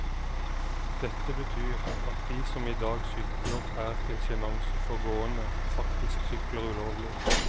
Dette betyr at de som i dag sykler og er til sjenanse for gående, faktisk sykler ulovlig.